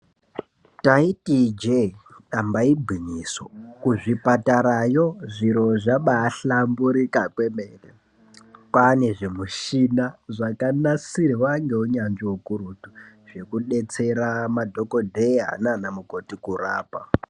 Taiti ijee damba igwinyiso kuzvipatarayo zviro zvabahlamburika kwemene kwaane zvimishina zvakanasirwa ngeunyanzvi ukurutu zvekubetsera madhokodheya nanamukoti kurapa .